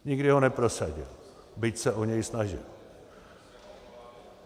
Nikdy ho neprosadil, byť se o něj snažil.